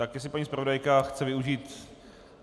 Tak jestli paní zpravodajka chce využít.